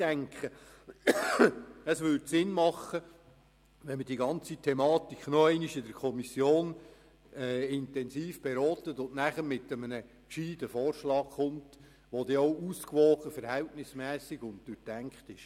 Ich denke, es wäre sinnvoll, wenn man die Thematik in der Kommission nochmals intensiv beraten könnte und dann mit einem klugen Vorschlag kommt, der auch ausgewogen, verhältnismässig und durchdacht ist.